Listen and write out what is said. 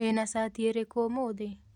Wĩna cati ĩrĩkũ ũmũthĩ?